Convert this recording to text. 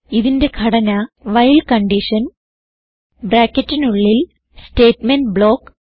ഇതിന്റെ ഘടന വൈൽ ബ്രാക്കറ്റിനുള്ളിൽ സ്റ്റേറ്റ്മെന്റ് ബ്ലോക്ക്